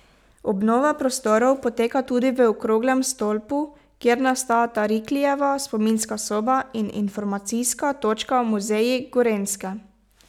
Obnova prostorov poteka tudi v okroglem stolpu, kjer nastajata Riklijeva spominska soba in informacijska točka Muzeji Gorenjske.